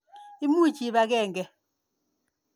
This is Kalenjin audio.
Imuch iip akenge.